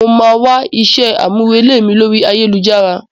Mo máa wá iṣẹ́ àmúrelé mi lóri ayélujára.